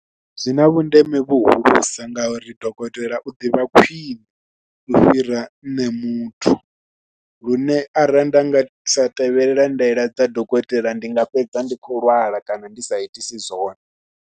Zwi na vhundeme vhuhulusa ngauri dokotela u ḓivha khwiṋe u fhira nṋe muthu, lune arali nda nga sa tevhela ndaela dza dokotela ndi nga fhedza ndi khou lwala kana ndi sa itisi zwone.